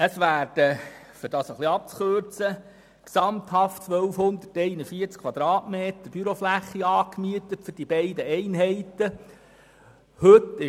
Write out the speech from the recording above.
Es werden gesamthaft 1241 Quadratmeter Bürofläche für die beiden Einheiten angemietet.